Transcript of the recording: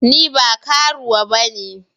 Ni ba karuwa bane.